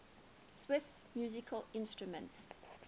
swiss musical instruments